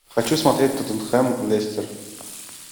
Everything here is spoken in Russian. хочу смотреть тоттенхэм лестер